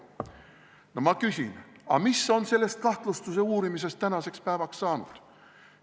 No ma küsin: aga mis on sellest kahtlustuse uurimisest tänaseks päevaks saanud?